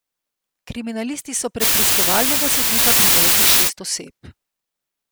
Kriminalisti so pred preiskovalnega sodnika privedli šest oseb.